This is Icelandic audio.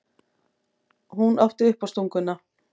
Hún átti uppástunguna.